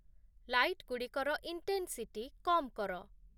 ଲାଇଟ୍‌ଗୁଡ଼ିକର intensity କମ୍‌ କର